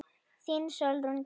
Þín Sólrún Tinna.